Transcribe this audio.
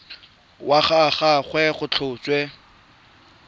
wa ga gagwe go tlhotswe